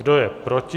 Kdo je proti?